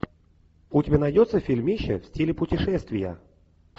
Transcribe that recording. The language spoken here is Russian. у тебя найдется фильмище в стиле путешествия